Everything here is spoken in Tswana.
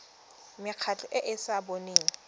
mekgatlho e e sa boneng